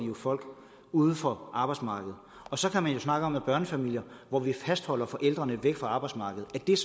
folk uden for arbejdsmarkedet og så kan man jo snakke om børnefamilier hvor vi fastholder forældrene væk fra arbejdsmarkedet og er